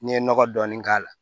N'i ye nɔgɔ dɔɔni k'a la